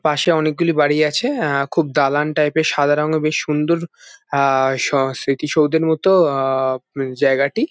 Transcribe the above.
পাশে অনেক গুলি বাড়ি আছে খুব দালান টাইপের সাদা রঙের বেশ সুন্দর আ-স-স্মৃতি সৌধের মতো আ-জায়গাটি।